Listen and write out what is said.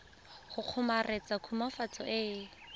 go kgomaretsa khutswafatso e e